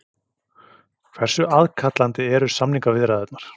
Hversu aðkallandi eru sameiningarviðræðurnar?